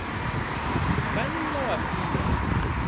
o ka nne wa fiwa